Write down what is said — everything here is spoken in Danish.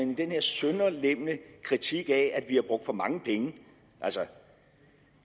med den her sønderlemmende kritik af at vi har brugt for mange penge